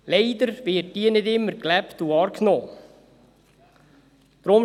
Leider wird diese nicht immer wahrgenommen und gelebt.